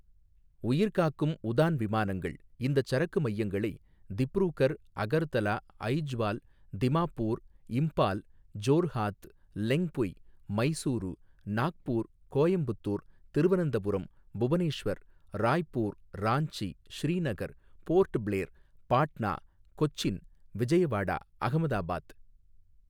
உயிர்காக்கும் உதான் விமானங்கள் இந்தச் சரக்கு மையங்களை திப்ரூகர், அகர்தலா, அய்ஜ்வால், திமாப்பூர், இம்ப்பால், ஜோர்ஹாத், லெங்க்புய், மைசூரூ, நாக்பூர், கோயம்புத்தூர், திருவனந்தபுரம், புவனேஷ்வர், ராய்ப்பூர், ராஞ்சி, ஸ்ரீநகர், போர்ட்பிளேர், பாட்னா, கொச்சின், விஜயவாடா, அகமதாபாத்.